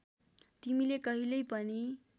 तिमीले कहिल्यै पनि